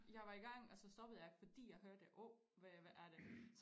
Jeg var i gang og så stoppede jeg fordi jeg hørte åh hvad er det